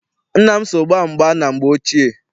Nna m so gbaa mgba na mgbe ochie.